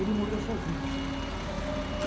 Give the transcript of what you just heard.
Ele morreu sozinho.